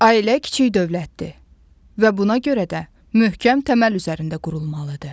Ailə kiçik dövlətdir və buna görə də möhkəm təməl üzərində qurulmalıdır.